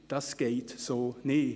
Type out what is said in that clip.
Das geht so nicht.